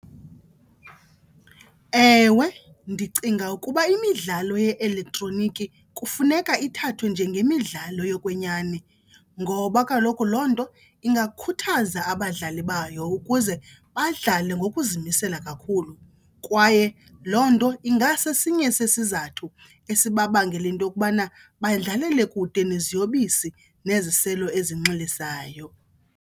Ewe, ndicinga ukuba imidlalo ye-elektroniki kufuneka ithathwe njengemidlalo yokwenyani ngoba kaloku loo nto ingakhuthaza abadlali bayo ukuze badlale ngokuzimisela kakhulu. Kwaye loo nto ingasesinye sesizathu esibabangela into yokubana badlalele kude neziyobisi neziselo ezinxilisayo.